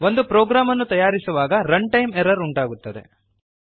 ಒಂದು ಪ್ರೋಗ್ರಾಮ್ ಅನ್ನು ತಯಾರಿಸುವಾಗRun time ಎರ್ರರ್ ಉಂಟಾಗುತ್ತದೆ